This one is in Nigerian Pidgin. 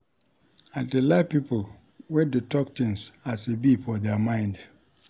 I dey like pipo wey dey tok tins as e be for their mind.